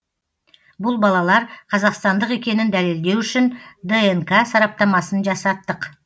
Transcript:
бұл балалар қазақстандық екенін дәлелдеу үшін днк сараптамасын жасаттық